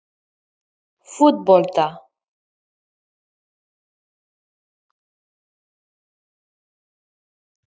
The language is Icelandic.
Voruð þið að skoða fleiri leikmenn í Þýskalandi?